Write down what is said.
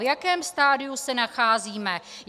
V jakém stadiu se nacházíme?